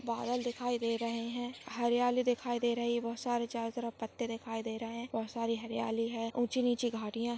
बादल दिखाई दे रहे है हरियाली दिखाई दे रही बहुत सारी चारो तरफ पत्ते दिखाई दे रहे बहुत सारी हरियाली है ऊंची नीची घाटिया--